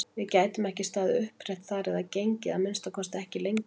Við gætum ekki staðið upprétt þar eða gengið, að minnsta kosti ekki lengi!